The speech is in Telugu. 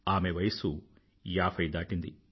ఆమె వయసు ఏభై దాటింది